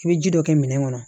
I bɛ ji dɔ kɛ minɛn kɔnɔ